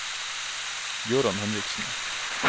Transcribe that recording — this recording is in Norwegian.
Gøran Henriksen